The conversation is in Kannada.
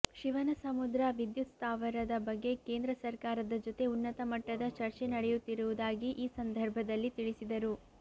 ಶಿವನಸಮುದ್ರ ವಿದ್ಯುತ್ ಸ್ಥಾವರದ ಬಗ್ಗೆ ಕೇಂದ್ರ ಸರ್ಕಾರದ ಜೊತೆ ಉನ್ನತ ಮಟ್ಟದ ಚರ್ಚೆ ನಡೆಯುತ್ತಿರುವುದಾಗಿ ಈ ಸಂದರ್ಭದಲ್ಲಿ ತಿಳಿಸಿದರು